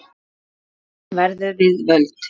Gleðin verður við völd.